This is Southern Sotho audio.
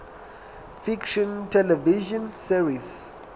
fiction television series